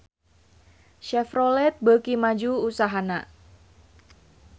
Chevrolet beuki maju usahana